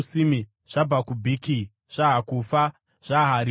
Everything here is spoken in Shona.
zvaBhakubhiki, zvaHakufa, zvaHarihuri,